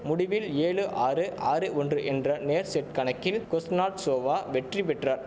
முடிவில் ஏழு ஆறு ஆறு ஒன்று என்ற நேர் செட் கணக்கில் குஸ்னாட்சோவா வெற்றி பெற்றார்